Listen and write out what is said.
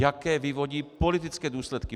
Jaké vyvodí politické důsledky.